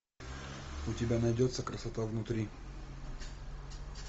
у тебя найдется красота внутри